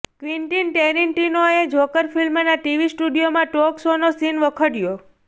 Quentin ટેરીન્ટિનોએ Joker ફિલ્મના TV સ્ટુડિયોમાં ટોક શોનો સીન વખોડયો